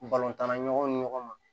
tan na ɲɔgɔn ni ɲɔgɔn ma